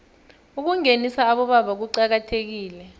ukungenisa abobaba kuqakathekile